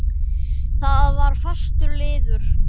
Það var fastur liður.